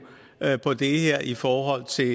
på det her i forhold til